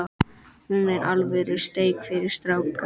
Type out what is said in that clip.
Hér er alvöru steik fyrir stráka.